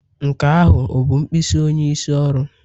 Nke ahụ ọ bụ mkpịsị onyeisi oru?